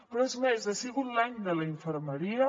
però és més ha sigut l’any de la infermeria